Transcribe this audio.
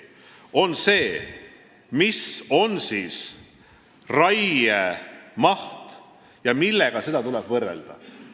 See on see, mis on raiemaht ja millega tuleb seda võrrelda.